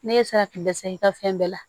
Ne ye se ka kun dɛsɛ i ka fɛn bɛɛ la